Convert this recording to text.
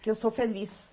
Que eu sou feliz.